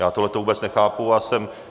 Já tohleto vůbec nechápu a jsem...